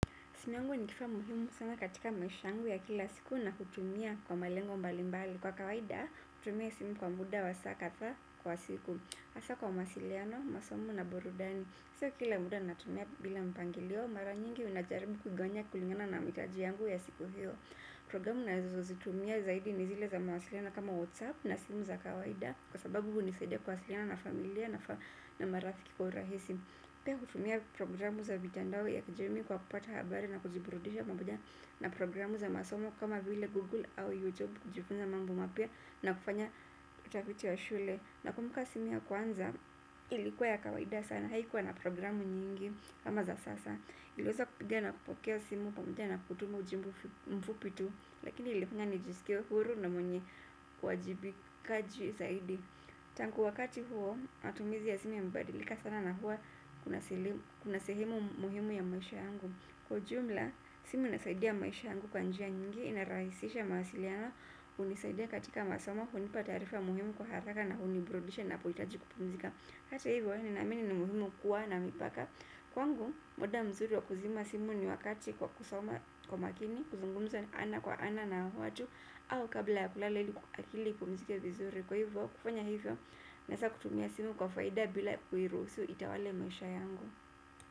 Simu yangu ni kifaa muhimu sana katika maisha yangu ya kila siku na kutumia kwa malengo mbalimbali. Kwa kawaida, kutumia simu kwa muda wa saa kadhaa kwa siku. Hasa kwa mawasiliano, masomo na burudani. Sio kila muda natumia bila mpangilio, mara nyingi unajaribu kugawanya kulingana na mahitaji yangu ya siku hiyo. Programu nazozitumia zaidi ni zile za mawasiliano kama WhatsApp na simu za kawaida kwa sababu hunisaidia kuwasiliana na familia na marafiki kwa urahisi. Pia hutumia programu za mitandao ya kijamii kwa kupata habari na kujiburudisha pamoja na programu za masomo kama vile Google au YouTube kujifunza mambo mapya na kufanya utafiti wa shule. Na kumbuka simu ya kwanza ilikuwa ya kawaida sana haikuwa na programu nyingi kama za sasa. Iliweza kupiga na kupokea simu pamoja na kutuma ujumbe mfupi tu lakini ilifanya nijisikie huru na mwenye uwajibikaji zaidi. Tangu wakati huo, matumizi ya simu yamebadilika sana na hua kuna sehemu muhimu ya maisha yangu. Kwa ujumla, simu inasaidia maisha yangu kwa njia nyingi, inarahisisha mawasiliano hunisaidia katika masoma, hunipa taarifa muhimu kwa haraka na huniburudisha napohitaji kupumzika hata hivyo, ninaamini ni muhimu kuwa na mipaka kwangu, muda mzuri wa kuzima simu ni wakati kwa kusoma kwa makini, kuzungumza ana kwa ana na watu kabla ya kulala ili akili ipumzike vizuri kwa hivyo kufanya hivo naeza kutumia simu kwa faida bila kuiruhusu itawale maisha yangu.